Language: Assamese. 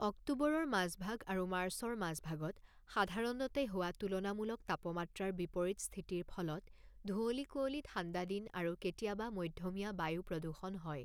অক্টোবৰৰ মাজভাগ আৰু মাৰ্চৰ মাজভাগত সাধাৰণতে হোৱা তুলনামূলক তাপমাত্ৰাৰ বিপৰীত স্থিতিৰ ফলত ধুঁৱলী কুঁৱলী ঠাণ্ডা দিন আৰু কেতিয়াবা মধ্যমীয়া বায়ু প্ৰদূষণ হয়।